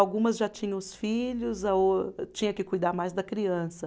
Algumas já tinham os filhos, a ô tinha que cuidar mais da criança.